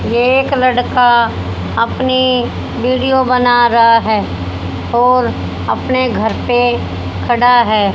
एक लड़का अपनी वीडियो बना रहा है और अपने घर पे खड़ा है।